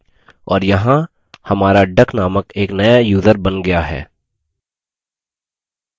और यहाँ हमारा duck named एक नया यूज़र बन गया है